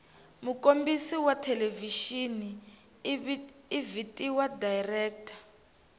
mukombisi wathelevishini ivhitiwa director